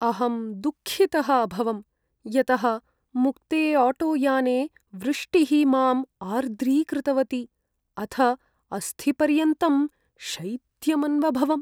अहं दुःखितः अभवं यतः मुक्ते आटोयाने वृष्टिः माम् आर्द्रीकृतवती, अथ अस्थिपर्यन्तं शैत्यमन्वभवम्।